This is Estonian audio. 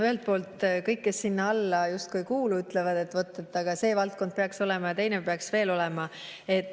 Ühelt poolt kõik, kes sinna alla justkui ei kuulu, ütlevad, et aga see valdkond peaks veel seal olema ja teine peaks veel olema.